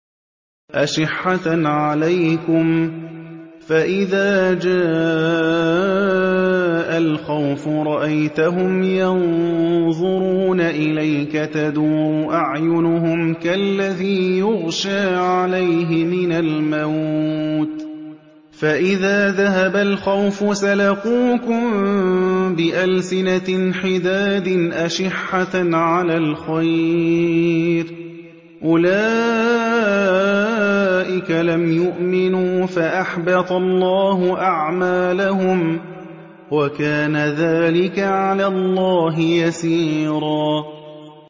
أَشِحَّةً عَلَيْكُمْ ۖ فَإِذَا جَاءَ الْخَوْفُ رَأَيْتَهُمْ يَنظُرُونَ إِلَيْكَ تَدُورُ أَعْيُنُهُمْ كَالَّذِي يُغْشَىٰ عَلَيْهِ مِنَ الْمَوْتِ ۖ فَإِذَا ذَهَبَ الْخَوْفُ سَلَقُوكُم بِأَلْسِنَةٍ حِدَادٍ أَشِحَّةً عَلَى الْخَيْرِ ۚ أُولَٰئِكَ لَمْ يُؤْمِنُوا فَأَحْبَطَ اللَّهُ أَعْمَالَهُمْ ۚ وَكَانَ ذَٰلِكَ عَلَى اللَّهِ يَسِيرًا